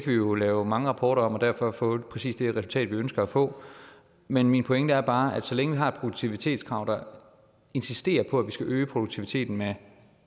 vi jo lave mange rapporter om og derfor få præcis det resultat vi ønsker at få men min pointe er bare at så længe vi har et produktivitetskrav der insisterer på at vi skal øge produktiviteten med